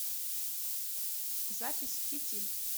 запись фитиль